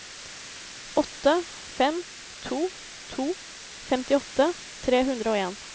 åtte fem to to femtiåtte tre hundre og en